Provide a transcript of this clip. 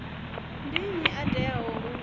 ndi nnyi a teaho u